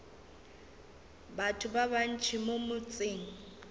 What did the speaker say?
batho ba bantši mo motseng